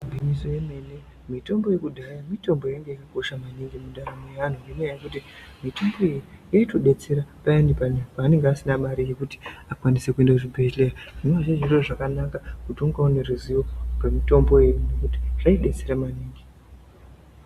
Igwinyiso remene mitombo yekudhaya mitombo yainga yakakosha maningi mundaramo yeanhu ngenyaya yekuti mitombo iyi yaitodetsera payani anhu paanenge asina mare yekuti akwanise kuende kuchibhehleya zvinova zviro zvakanaka kuti unga une ruziwo rwemitombo yo nekuti zvaidetsera maningi.